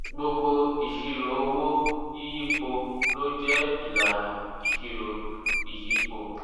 gbogbo ìṣirò owó yíyípo ló jẹ́ ìlànà ìṣirò ìyípo.